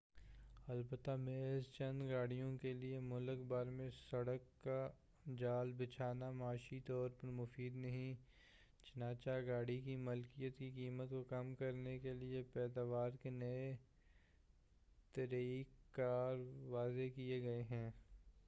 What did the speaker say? البتہ محض چند گاڑیوں کے لیے ملک بھر میں سڑک کا جال بچھانا معاشی طور پر مفید نہیں چنانچہ گاڑی کی ملکیت کی قیمت کو کم کرنے کے لیے پیداوار کے نئے طریق کار وضع کیے گئے ہیں